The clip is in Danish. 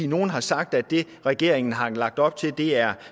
nogle har sagt at det regeringen har lagt op til er